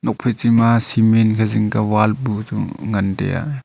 nuak phai chi ma cement ankhe zing kya bu wall bu chu ngan tai a.